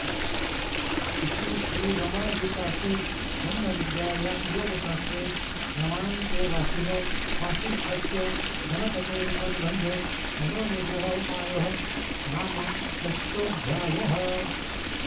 इति श्रीरमणगीतासु ब्रह्मविद्यायां योगशास्त्रे रमणान्तेवासिनो वासिष्ठस्य गणपतेरुपनिबन्धे मनोनिग्रहोपायः नाम षष्टोऽध्यायः